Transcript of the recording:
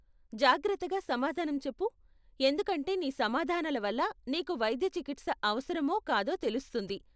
జాగ్రత్తగా సమాధానం చెప్పు, ఎందుకంటే నీ సమాధానాల వల్ల నీకు వైద్య చికిత్స అవసరమో కాదో తెలుస్తుంది.